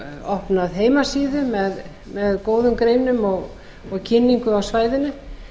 opnað heimasíðu með góðum greinum og kynningu á svæðinu